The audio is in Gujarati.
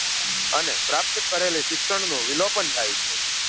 અને પ્રાપ્ત કરેલી શિક્ષણ નું વિલોપન થાય છે